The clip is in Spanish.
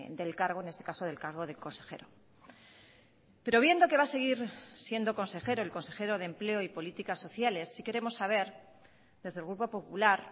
del cargo en este caso del cargo de consejero pero viendo que va a seguir siendo consejero el consejero de empleo y políticas sociales sí queremos saber desde el grupo popular